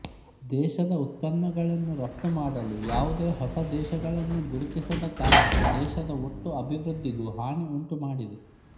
ದೇಶದ ಉತ್ಪನ್ನಗಳನ್ನು ರಫ್ತು ಮಾಡಲು ಯಾವುದೇ ಹೊಸ ದೇಶಗಳನ್ನು ಗುರುತಿಸದ ಕಾರಣ ದೇಶದ ಒಟ್ಟು ಅಭಿವೃದ್ಧಿಗೂ ಹಾನಿ ಉಂಟುಮಾಡಿದೆ